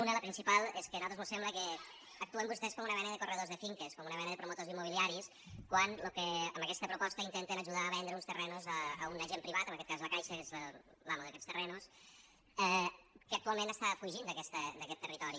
una la principal és que a nosaltres mos sembla que actuen vostès com una mena de corredors de finques com una mena de promotors immobiliaris quan amb aquesta proposta intenten ajudar a vendre uns terrenys a un agent privat en aquest cas la caixa que és l’amo d’aquests terrenys que actualment fuig d’aquest territori